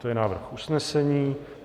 To je návrh usnesení.